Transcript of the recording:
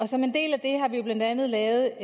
som en del af det har vi blandt andet lavet